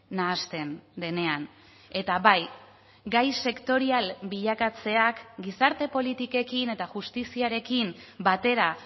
nahasten denean eta bai gai sektorial bilakatzeak gizarte politikekin eta justiziarekin batera